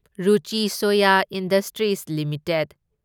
Ruchi Soya industries limited